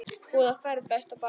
Góða ferð besta barn.